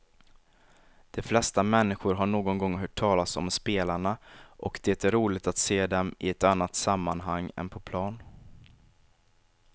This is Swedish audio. De flesta människor har någon gång hört talas om spelarna och det är roligt att se dem i ett annat sammanhang än på plan.